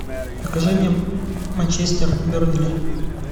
покажи мне манчестер бернли